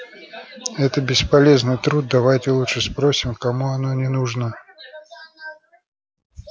это бесполезный труд давайте лучше спросим кому оно не нужно